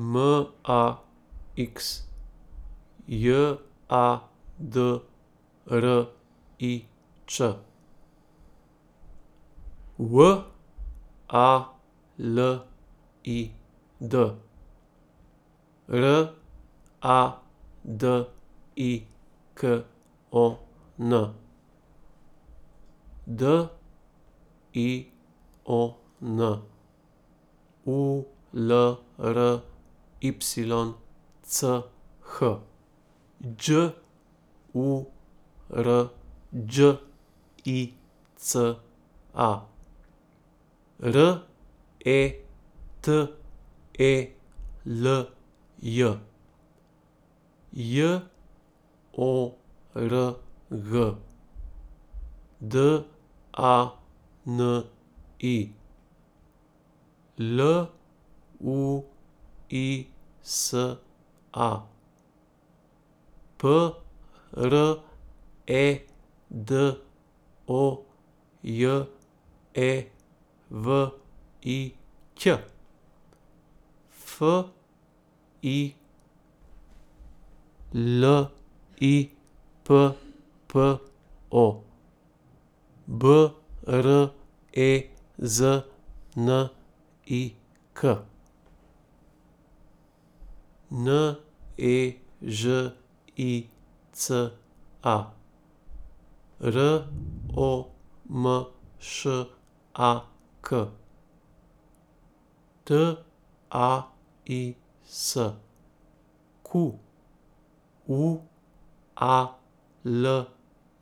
M A X, J A D R I Č; W A L I D, R A D I K O N; D I O N, U L R Y C H; Đ U R Đ I C A, R E T E L J; J O R G, D A N I; L U I S A, P R E D O J E V I Ć; F I L I P P O, B R E Z N I K; N E Ž I C A, R O M Š A K; T A I S, Q U A L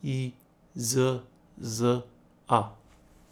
I Z Z A.